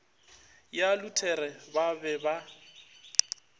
ya luthere ba be ba